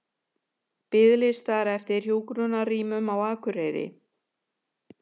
Biðlistar eftir hjúkrunarrýmum á Akureyri